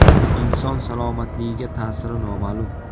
Inson salomatligiga ta’siri noma’lum.